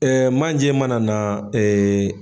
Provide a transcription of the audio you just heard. Ɛɛ manjɛ mana na ee